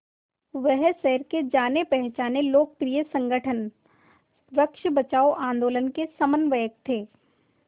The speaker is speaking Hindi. वह शहर के जानेपहचाने लोकप्रिय संगठन वृक्ष बचाओ आंदोलन के समन्वयक थे